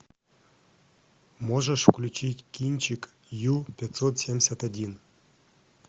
можешь включить кинчик ю пятьсот семьдесят один